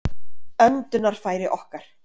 öndunarfæri okkar